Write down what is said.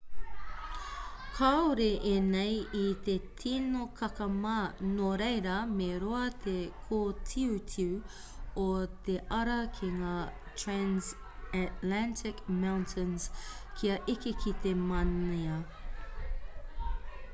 kāore ēnei i te tino kakama nō reira me roa te kōtiutiu o te ara ki ngā transantarctic mountains kia eke ki te mānia